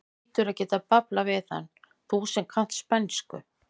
Þú hlýtur að geta bablað við hann, þú sem kannt spænsku!